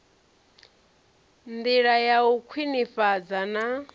ndila ya u khwinifhadza na